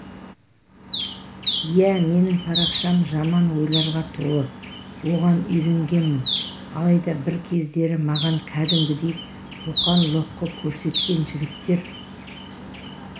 иә менің парақшам жаман ойларға толы оған үйренгенмін алайда бір кездері маған кәдімгідей қоқан-лоққы көрсеткен жігіттер